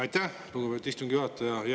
Aitäh, lugupeetud istungi juhataja!